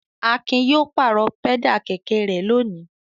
Akin yóò pàrọ̀ pẹ́dà kẹ̀kẹ́ rẹ̀ lónìí.